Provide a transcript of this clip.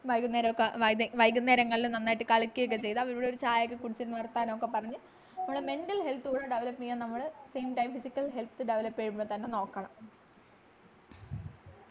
വൈകുന്നേരം ഒക്കെ വൈകുന്നേരങ്ങളിൽ നന്നായിട്ട് കളിക്കുക ഒക്കെ ചെയ്ത അവിടെ ഇവിടെ ഒരു ചായ കുടിച്ചു വർത്താനം ഒക്കെ പറഞ്ഞു നമ്മുടെ mental health കൂടെ develop ചെയ്യാൻ നമ്മള് same time physical health develop ചെയ്യുമ്പോ തന്നെ നോക്കണ